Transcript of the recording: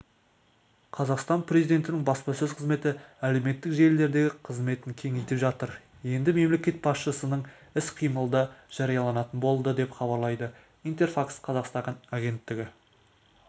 қазақстан президентінің баспасөз қызметі әлеуметтік желілердегі қызметін кеңейтіп жатыр енді мемлекет басшысының іс-қимылы да жарияланатын болады деп хабарлайды интерфакс-қазақстан агенттігіне